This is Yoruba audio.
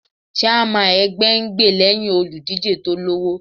Chairman ẹgbẹ́ ń gbè lẹ́hìn olùdíje tó lọ́wọ́.